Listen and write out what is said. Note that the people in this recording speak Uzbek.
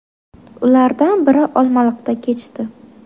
Ulardan biri Olmaliqda kechdi .